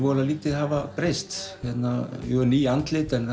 lítið hafa breyst jú ný andlit en